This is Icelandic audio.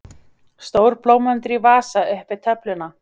Stór blómvöndur í vasa upp við töfluna.